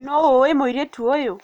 Nũ ũĩ mũiritu ũyũ?